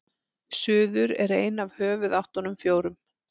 suður er ein af höfuðáttunum fjórum